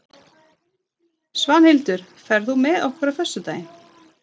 Svanhildur, ferð þú með okkur á föstudaginn?